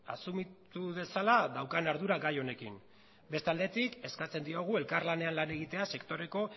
asumitu dezala daukan ardura gai honekin beste aldetik eskatzen diogu elkarlanean lan egitea sektoreko